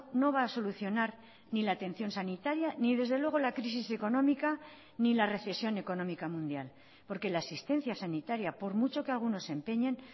no va a solucionar ni la atención sanitaria ni desde luego la crisis económica ni la recesión económica mundial porque la asistencia sanitaria por mucho que algunos se empeñen